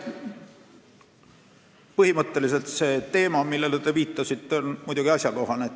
Põhimõtteliselt on see teema, millele te viitasite, muidugi asjakohane.